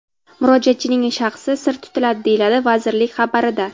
Murojaatchining shaxsi sir tutiladi”, deyiladi vazirlik xabarida.